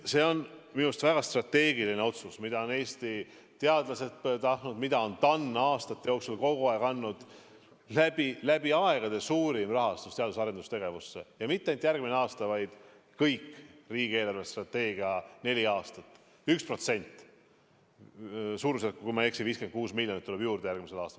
See on minu arust väga strateegiline otsus, mida on Eesti teadlased tahtnud, mida on TAN aastate jooksul kogu aeg soovitanud: läbi aegade suurim teadus- ja arendustegevuse rahastus ja mitte ainult järgmine aasta, vaid kõik riigi eelarvestrateegia neli aastat, 1%, suurusjärgus, kui ma ei eksi, 56 miljonit tuleb juurde järgmisel aastal.